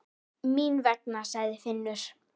Mín vegna, sagði Finnur.